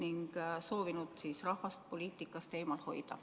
On soovitud rahvast poliitikast eemal hoida.